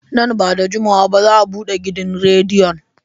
Nan ba da jimawa ba za a bude gidan rediyon.